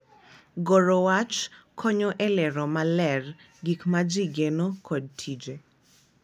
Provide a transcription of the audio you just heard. Goro wach konyo e lero maler gik ma ji geno kod tije